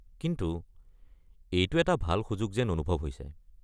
কিন্তু এইটো এটা ভাল সুযোগ যেন অনুভৱ হৈছে।